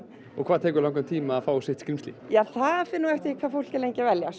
hvað tekur langan tíma að fá sitt skrímsli það fer eftir því hvað fólk er lengi að velja